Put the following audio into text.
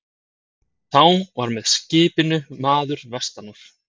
Þá var og með skipinu maður vestan úr